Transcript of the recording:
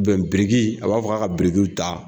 biriki a b'a fɔ ka ka birikiw ta.